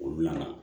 Olu nana